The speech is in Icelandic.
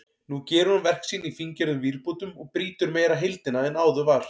Nú gerir hún verk sín í fíngerðum vírbútum og brýtur meira heildina en áður var.